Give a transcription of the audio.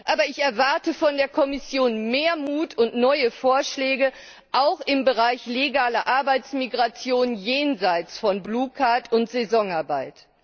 Aber ich erwarte von der Kommission mehr Mut und neue Vorschläge auch im Bereich legaler Arbeitsmigration jenseits von Blue Card und Saisonarbeit.